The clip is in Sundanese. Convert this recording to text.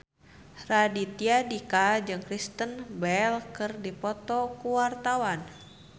Raditya Dika jeung Kristen Bell keur dipoto ku wartawan